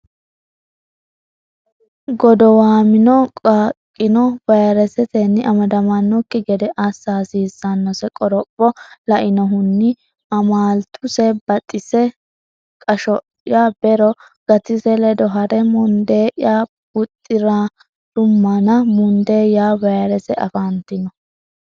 Godowamino qaaqqino vayresetenni amadamannokki gede assa hasiissannose qoropho lainohunni amaaltuse Baxise Qasho ya bero Gatise ledo ha re mundee ya buuxi rummana mundee ya vayrese afantino.